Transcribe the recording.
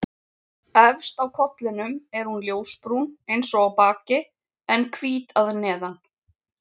Efst á kollinum er hún ljósbrún eins og á baki en hvít að neðan.